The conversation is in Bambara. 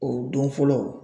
O don fɔlɔ